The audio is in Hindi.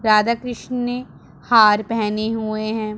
राधा कृष्ण ने हार पहने हुए हैं।